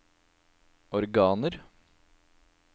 organer